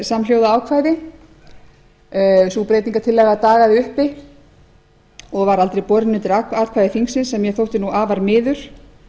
samhljóða ákvæði sú breytingartillaga dagaði uppi og var aldrei borin undir atkvæði þingsins sem mér þótti afar miður